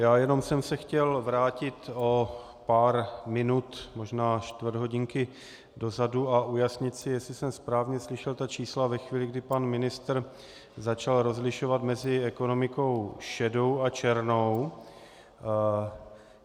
Já jenom jsem se chtěl vrátit o pár minut, možná čtvrt hodinky dozadu a ujasnit si, jestli jsem správně slyšel ta čísla ve chvíli, kdy pan ministr začal rozlišovat mezi ekonomikou šedou a černou.